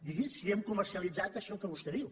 digui si hem comercialitzat això que vostè diu